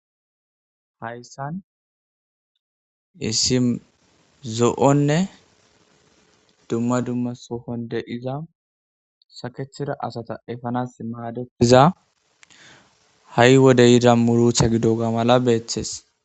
Hayssan isim zo.onne dumma dumma sohon de'iza sakethida asata efanas maadetiza ha'i wode yida murutha gido ga mala beeththes.